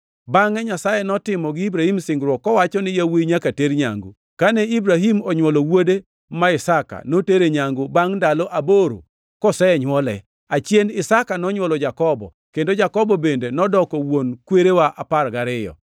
Bangʼe Nyasaye notimo gi Ibrahim singruok kowacho ni yawuowi nyaka ter nyangu. Kane Ibrahim onywolo wuode ma Isaka, notere nyangu bangʼ ndalo aboro kosenywole. Achien Isaka nonywolo Jakobo, kendo Jakobo bende nodoko wuon kwerewa apar gariyo.